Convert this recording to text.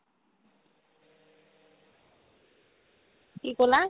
কি ক'লা ?